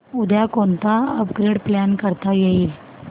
उद्या कोणतं upgrade plan करता येईल